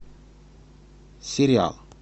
сериал